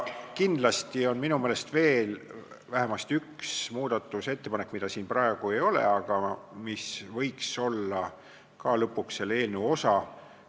Minu meelest on kindlasti veel vähemasti üks muudatusettepanek, mida siin praegu ei ole, aga mis võiks olla lõpuks selle eelnõu osa.